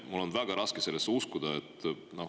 Mul on väga raske sellesse uskuda.